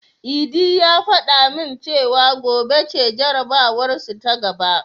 Idi ya fada min cewa gobe ce jarabawarsu ta gaba.